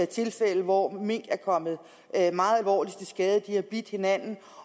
tilfælde hvor mink er kommet meget alvorligt til skade de har bidt hinanden